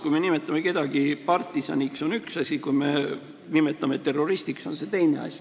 Kui me nimetame kedagi partisaniks, on see üks asi, kui me nimetame terroristiks, siis on see teine asi.